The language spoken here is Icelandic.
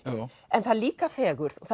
en það er líka fegurð